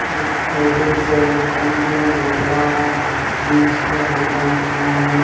ਉਹਦੇ ਵਿੱਚ ਪਾਣੀ ਦੀਆਂ ਬੋਤਲਾਂ ਜੂਸ ਦੀਆਂ ਬੋਤਲਾਂ ਵੀ ਪਈਆਂ ਹਨ।